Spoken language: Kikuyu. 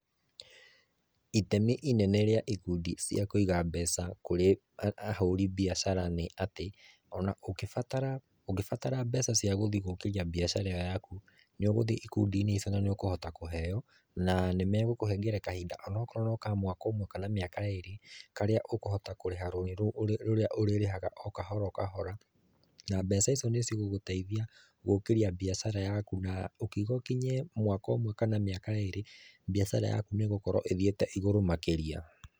Itemi inene rĩa ikundi cia kũiga mbeca kũrĩ ahũri biacara nĩ atĩ, ona ũngĩ batara mbeca cia gũthiĩ gũkĩrĩa biacara ĩyo yaku nĩ ũgũthiĩ ikundi-inĩ icio na nĩ ũkũhota kũheo nanĩ magũkũhe kahĩnda onokorwo nĩ mwaka ũmwe kana mĩaka ĩrĩ karĩa ũkũhota kũrĩha rũni rũu, rũrĩa ũrĩrĩhaga o kahora o kahora, na mbeca icio nĩ cigũgũteithia gũkĩrĩa biacara yaku na ũkĩuga ũkinye mwaka ũmwe kana ĩrĩ biacara yaku nĩ ĩgũkorwo ĩthiĩte ĩgũrũ makĩrĩa.